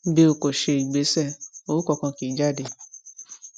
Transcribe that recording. bí o o kò ṣe ìgbésẹ owó kankan kì í jáde